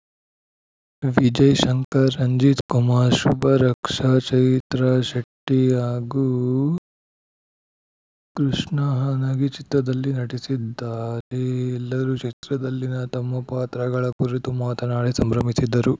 ವಿಜಯ್‌ ಶಂಕರ್‌ ರಂಜಿತ್‌ ಕುಮಾರ್‌ ಶುಭ ರಕ್ಷ ಚೈತ್ರ ಶೆಟ್ಟಿಹಾಗೂ ಕೃಷ್ಣ ಹನಗಿ ಚಿತ್ರದಲ್ಲಿ ನಟಿಸಿದ್ದಾರೆ ಎಲ್ಲರು ಚಿತ್ರದಲ್ಲಿನ ತಮ್ಮ ಪಾತ್ರಗಳ ಕುರಿತು ಮಾತನಾಡಿ ಸಂಭ್ರಮಿಸಿದರು